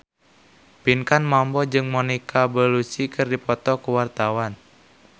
Pinkan Mambo jeung Monica Belluci keur dipoto ku wartawan